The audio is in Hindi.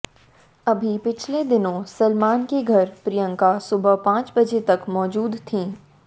अभी पिछले दिनों सलमान के घर प्रियंका सुबह पांच बजे तक मौजूद थीं